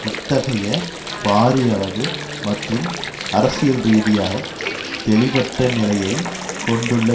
இத்தகயை பாரியளவு மற்றும் அரசியல்ரீதியாக தெளிவற்ற நிலையை கொண்டுள்ள